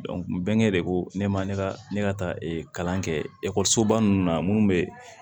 bɛnkɛ de ko ne ma ne ka ne ka taa kalan kɛ ekɔlisoba ninnu na minnu bɛ